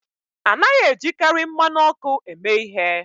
A naghị ejikarị mmanụ ọkụ eme ihe